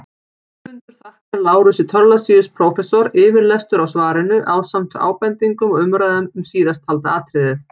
Höfundur þakkar Lárusi Thorlacius prófessor yfirlestur á svarinu ásamt ábendingum og umræðum um síðasttalda atriðið.